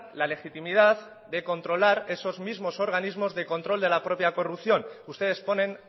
la legitimidad de controlar esos mismos organismos de control de la propia corrupción ustedes ponen